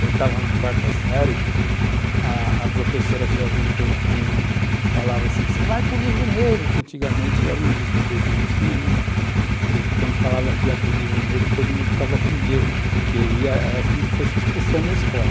Eu estava na quarta série, a a professora se juntou com e falava assim, você vai para o livro negro, que antigamente era um livro preto que tinha, né, que quando falava que ia para o livro negro todo mundo ficava com medo, porque aí era como se fosse expulsão da escola.